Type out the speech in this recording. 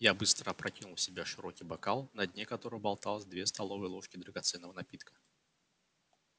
я быстро опрокинул в себя широкий бокал на дне которого болталось две столовые ложки драгоценного напитка